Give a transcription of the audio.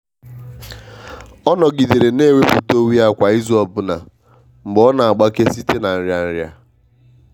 ọ nọgidere na-ewepụta onwe ya kwa izu ọbụna mgbe ọ n'agbake site na nria nria.